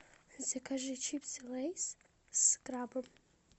закажи чипсы лейс с крабом